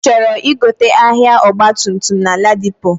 Ichọrọ igote ahia ọgba tum tum na ladipo?